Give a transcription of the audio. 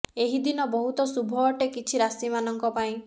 ଏହି ଦିନ ବହୁତ ଶୁଭ ଅଟେ କିଛି ରାଶି ମାନଙ୍କ ପାଇଁ